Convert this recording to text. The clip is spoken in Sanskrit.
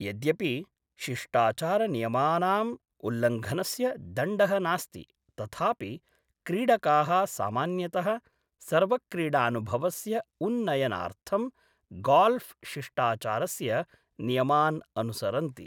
यद्यपि शिष्टाचारनियमानाम् उल्लङ्घनस्य दण्डः नास्ति तथापि क्रीडकाः सामान्यतः सर्वक्रीडानुभवस्य उन्नयनार्थं गाल्फ़् शिष्टाचारस्य नियमान् अनुसरन्ति।